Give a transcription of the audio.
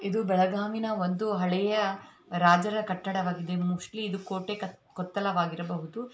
ಇದು ಬೆಳಗಾವಿನ ಒಂದು ಹಳೆಯ ರಾಜರ ಕಟ್ಟಡವಾಗಿದೆ ಮೋಸ್ಟ್ಲಿ ಇದು ಕೋಟೆ ಕೊತ್ತಲವಾಗಿರಬಹುದು.